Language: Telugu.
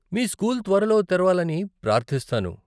మీ స్కూల్ త్వరలో తెరవాలని ప్రార్ధిస్తాను.